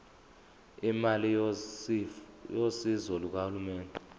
imali yosizo lukahulumeni